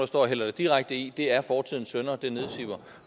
står og hælder det direkte i det er fortidens synder der nedsiver